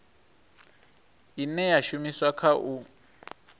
ine ya shumiswa kha u